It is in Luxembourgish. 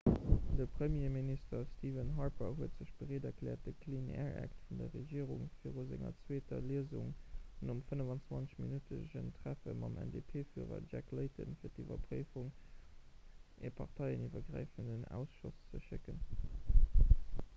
de premierminister stephen harper huet sech bereet erkläert de clean air act' vun der regierung viru senger zweeter liesung nom 25-minuttegen treffe mam ndp-fürer jack layton fir d'iwwerpréiwung un e parteieniwwergräifenden ausschoss ze schécken